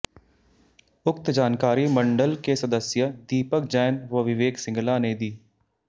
उक्त जानकारी मंड़ल के सदस्य दीपक जैन व विवेक सिंगला ने दी